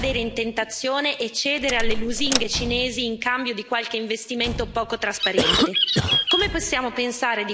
Gli Stati membri non devono cadere in tentazione e cedere alle lusinghe cinesi in cambio di qualche investimento poco trasparente.